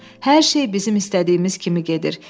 Hər şey bizim istədiyimiz kimi gedir.